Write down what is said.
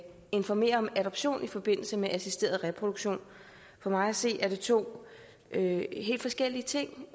informere om adoption i forbindelse med assisteret reproduktion for mig at se er det to helt forskellige ting